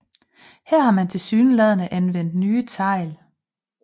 Her har man tilsyneladende anvendt nye tegl